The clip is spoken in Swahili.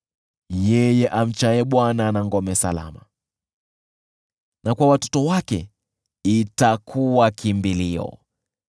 Yeye amchaye Bwana ana ngome salama, na kwa watoto wake itakuwa kimbilio.